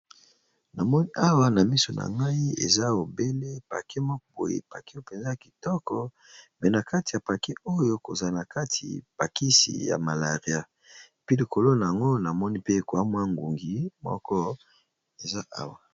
Namoni awa na miso na ngai eza obele pake moko boye pake openza kitoko pe na kati ya pake oyo kozana kati pakisi ya malaria pi likolo na ango na moni pe ekwamwa ngungi moko eza awa.